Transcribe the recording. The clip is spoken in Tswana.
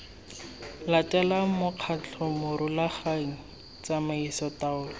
latelang mokgatlho morulaganyi tsamaiso taolo